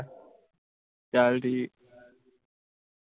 ਚੱਲ ਠੀਕ